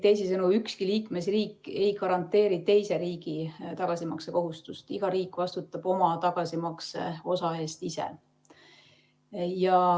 Teisisõnu, ükski liikmesriik ei garanteeri teise riigi tagasimaksekohustust, iga riik vastutab oma tagasimakseosa eest ise.